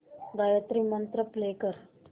Gayatri mantra play कर